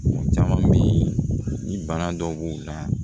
Caman bɛ yen ni bana dɔw b'u la